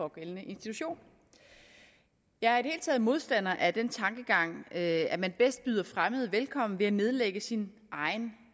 pågældende institution jeg er i modstander af den tankegang at at man bedst byder fremmede velkommen ved at nedlægge sin egen